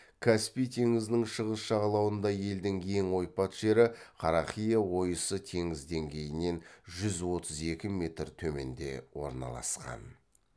каспий теңізінің шығыс жағалауында елдің ең ойпат жері қарақия ойысы теңіз деңгейінен жүз отыз екі метр төменде орналасқан